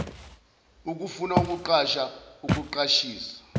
ukufuna ukuqasha ukuqashisa